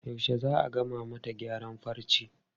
Yaushe za a gama mata gyaran farcen?